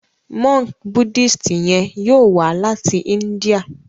Monk Buddhist yen yóò wá láti India.